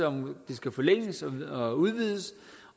om skal forlænges og udvides